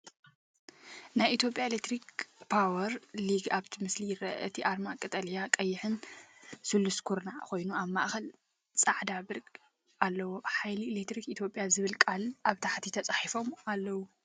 ናይ ኢትዮጵያ ኤሌክትሪክ ፓወር ሎጎ ኣብቲ ምስሊ ይርአ። እቲ ኣርማ ቀጠልያን ቀይሕን ስሉስ ኩርናዕ ኮይኑ ኣብ ማእከሉ ጻዕዳ በርቂ ኣለዎ። “ሓይሊ ኤሌክትሪክ ኢትዮጵያ” ዝብሉ ቃላት ኣብ ታሕቲ ተጻሒፎም ኣለዉ።